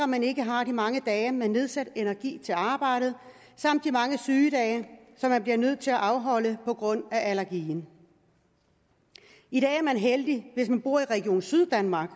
man ikke har de mange dage med nedsat energi til arbejdet samt de mange sygedage som man bliver nødt til at afholde på grund af allergien i dag er man heldig hvis man bor i region syddanmark